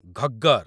Ghaggar